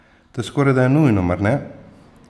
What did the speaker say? To je skorajda nujno, mar ne?